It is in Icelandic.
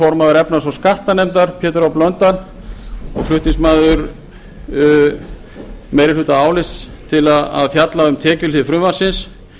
formaður efnahags og skattanefndar pétur h blöndal og flutningsmaður meirihlutaálits til að fjalla um tekjuhlið frumvarpsins